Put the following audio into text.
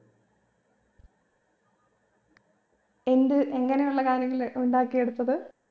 എന്ത് എങ്ങനെയുള്ള കാര്യങ്ങള് ഉണ്ടാക്കിയെടുത്തത്